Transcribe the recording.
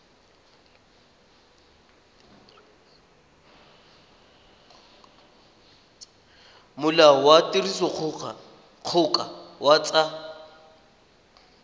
molao wa tirisodikgoka wa tsa